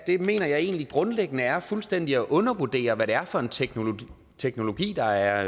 mener jeg egentlig grundlæggende er fuldstændig at undervurdere hvad det er for en teknologi teknologi der er